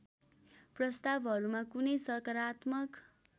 प्रस्तावहरूमा कुनै सकारात्मक